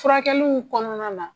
Furakɛliw kɔnɔna na.